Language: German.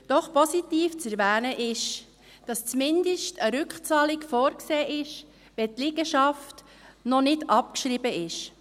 Doch positiv zu erwähnen ist, dass zumindest eine Rückzahlung vorgesehen ist, wenn die Liegenschaft noch nicht abgeschrieben ist.